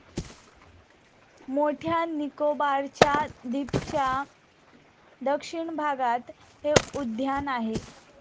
मोठ्या निकोबारच्या द्विपच्या दक्षिण भागात हे उद्यान आहे.